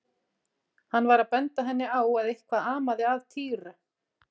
Hann var að benda henni á að eitthvað amaði að Týra.